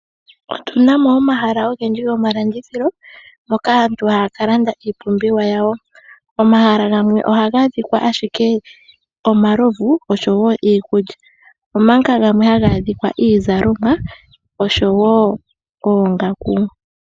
Otuna mo omahala ogendji gomalandithilo moka aantu haya kalanda iipumbiwa yawo, omahala gamwe ohaga adhikwa ashike omalovu oshowo iikulya omanga gamwe haga adhikwa iizalomwa oshowo oongaku.